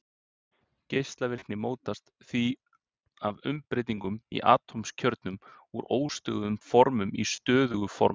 Geislavirkni mótast því af umbreytingum í atómkjörnum úr óstöðugum formum í stöðug form.